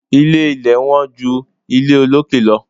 Ilé ilẹ̀ wọ́n ju ilé olókè lọ.